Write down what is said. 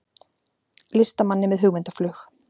Listamanni með hugmyndaflug